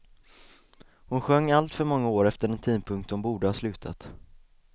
Hon sjöng alltför många år efter den tidpunkt då hon borde ha slutat.